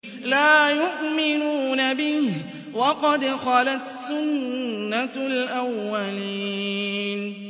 لَا يُؤْمِنُونَ بِهِ ۖ وَقَدْ خَلَتْ سُنَّةُ الْأَوَّلِينَ